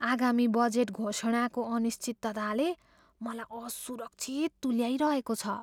आगामी बजेट घोषणाको अनिश्चितताले मलाई असुरक्षित तुल्याइरहेको छ।